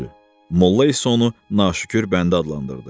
Molla isə onu naşükür bəndə adlandırdı.